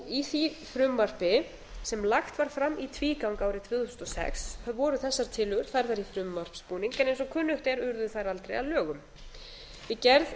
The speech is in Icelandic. í því frumvarpi sem lagt var fram í tvígang árið tvö þúsund og sex voru þessar tillögur færðar í frumvarpsbúning en eins og kunnugt er urðu þær aldrei að lögum við gerð